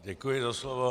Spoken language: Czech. Děkuji za slovo.